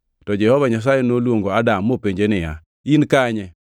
To Jehova Nyasaye noluongo Adam mopenje niya, “In kanye?”